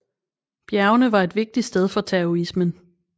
Bjergene var et vigtigt sted for taoismen